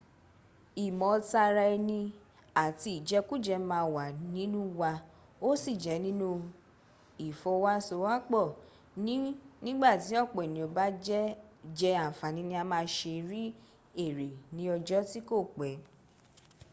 ìmọ taraẹni àti ìjẹkújẹ ma wà nínu wa ó sí jẹ́ nínu ìfọwasowọ́pọ̀ ní nígbàtí ọ̀pọ̀ ènìyàn bá jẹ́ àǹfàní ni a ma ṣe rí èrè ní ọjọ́ tí kò pẹ́